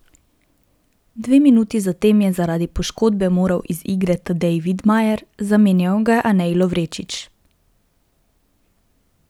Dve minuti zatem je zaradi poškodbe moral iz igre Tadej Vidmajer, zamenjal ga je Anej Lovrečič.